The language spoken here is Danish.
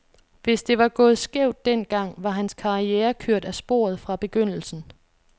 Hvis det var gået skævt den gang, var hans karriere kørt af sporet fra begyndelsen.